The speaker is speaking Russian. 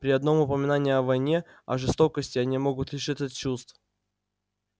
при одном упоминании о войне о жестокости они могут лишиться чувств